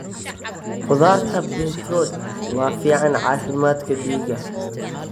Khudaarta beetroot waa fiican caafimaadka dhiigga.